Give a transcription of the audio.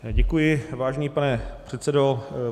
Děkuji, vážený pane předsedo.